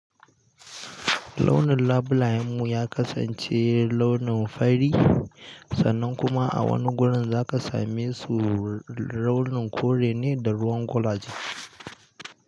Launin labulayen mu ya kasance launin fari, sannan kuma a wani wurin za ka same su launin kore ne da ruwan guraji.